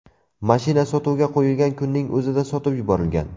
Mashina sotuvga qo‘yilgan kunning o‘zida sotib yuborilgan.